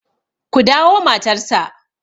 ku dawo matarsa!